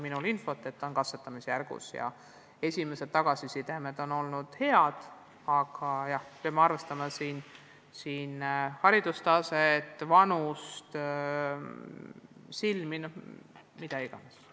Minul on infot, et see kõik on katsetamisjärgus ja esimene tagasiside on olnud hea, aga jah, peame tõesti arvestama inimeste haridustaset, vanust, silmi – mida iganes.